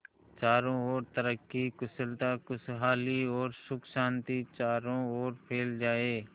चारों और तरक्की कुशलता खुशहाली और सुख शांति चारों ओर फैल जाए